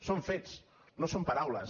són fets no són paraules